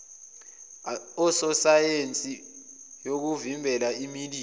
asosiyesheni yokuvimbela imililo